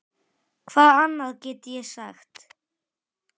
Hvað annað get ég sagt?